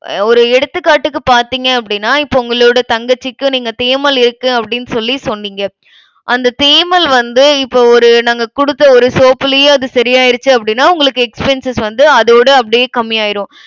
ஒரு எடுத்துக்காட்டுக்கு பார்த்தீங்க அப்படின்னா, இப்ப உங்களோட தங்கச்சிக்கும் நீங்க தேமல் இருக்கு அப்படின்னு சொல்லி சொன்னீங்க. அந்த தேமல் வந்து இப்ப ஒரு நாங்க கொடுத்த ஒரு soap லயே அது சரியாயிடுச்சு அப்படின்னா, உங்களுக்கு expenses வந்து அதோட அப்படியே கம்மி ஆயிரும்.